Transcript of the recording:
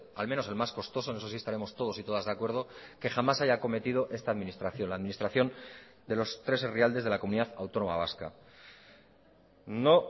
al menos el más costoso en eso sí estaremos todos y todas de acuerdo que jamás haya acometido esta administración la administración de los tres herrialdes de la comunidad autónoma vasca no